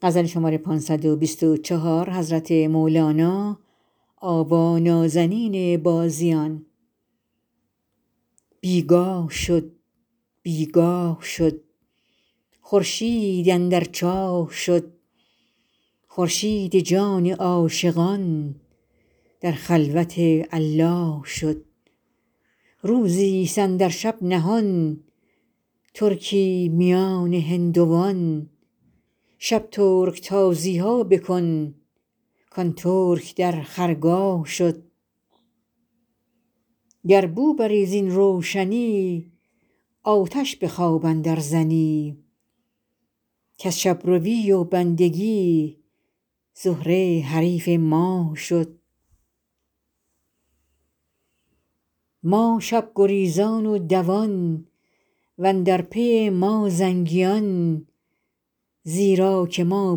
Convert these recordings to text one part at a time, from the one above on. بی گاه شد بی گاه شد خورشید اندر چاه شد خورشید جان عاشقان در خلوت الله شد روزیست اندر شب نهان ترکی میان هندوان شب ترک تازی ها بکن کان ترک در خرگاه شد گر بو بری زین روشنی آتش به خواب اندرزنی کز شب روی و بندگی زهره حریف ماه شد ما شب گریزان و دوان و اندر پی ما زنگیان زیرا که ما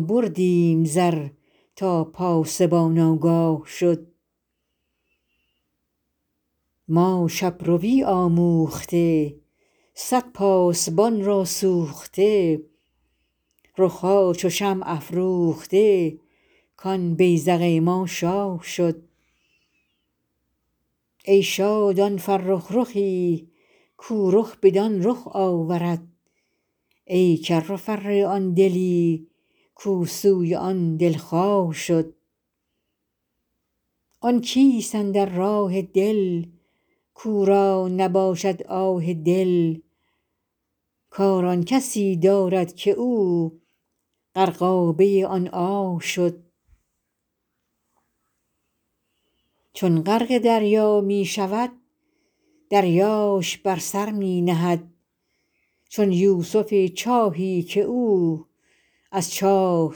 بردیم زر تا پاسبان آگاه شد ما شب روی آموخته صد پاسبان را سوخته رخ ها چو شمع افروخته کان بیذق ما شاه شد ای شاد آن فرخ رخی کو رخ بدان رخ آورد ای کر و فر آن دلی کو سوی آن دلخواه شد آن کیست اندر راه دل کو را نباشد آه دل کار آن کسی دارد که او غرقابه آن آه شد چون غرق دریا می شود دریاش بر سر می نهد چون یوسف چاهی که او از چاه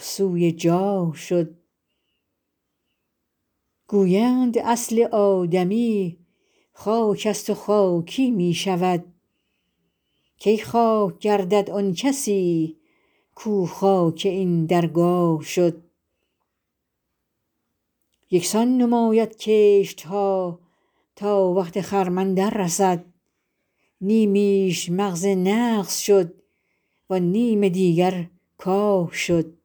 سوی جاه شد گویند اصل آدمی خاکست و خاکی می شود کی خاک گردد آن کسی کو خاک این درگاه شد یک سان نماید کشت ها تا وقت خرمن دررسد نیمیش مغز نغز شد وان نیم دیگر کاه شد